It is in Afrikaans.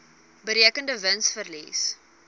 berekende wins verlies